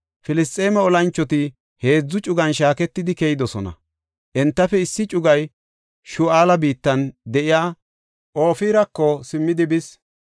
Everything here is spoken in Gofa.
Filisxeeme olanchoti heedzu cugan shaaketidi keyidosona. Entafe issi cugay Shu7aala biittan de7iya Ofirako simmidi bis;